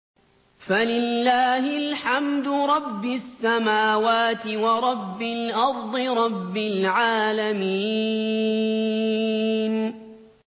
فَلِلَّهِ الْحَمْدُ رَبِّ السَّمَاوَاتِ وَرَبِّ الْأَرْضِ رَبِّ الْعَالَمِينَ